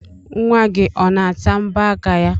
Nwa gị ọ na-ata mbọ aka ya?